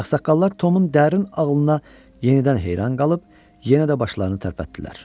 Ağsaqqallar Tomun dərin ağlına yenidən heyran qalıb, yenə də başlarını tərpətdilər.